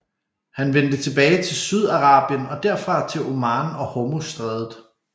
Han vendte tilbage til Sydarabien og derfra til Oman og Hormuzstrædet